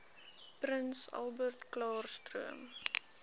prins albertklaarstroom